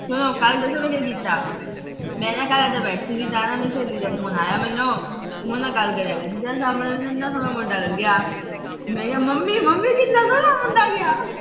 ਕੱਲ੍ਹ ਦੱਸਾ ਮੈਂ ਕੀ ਕੀਤਾ, ਮੈਂ ਨਾ ਕੱਲ੍ਹ ਇਥੇ ਬੈਠੀ ਸੀ, ਮੇਰੀ ਸਹੇਲੀ ਦਾ phone ਆਇਆ ਮੈਨੂੰ। ਉਹਦੇ ਨਾਲ ਗੱਲ ਕਰਨ ਲੱਗ ਪਈ, ਸਾਹਮਣੇ ਇਹਨਾਂ ਸੋਹਣਾ ਮੁੰਡਾ ਲੰਘਿਆ। ਮੈਂ ਕਿਹਾ ਮੰਮੀ-ਮੰਮੀ ਕਿੰਨਾ ਸੋਹਣਾ ਮੁੰਡਾ ਗਿਆ।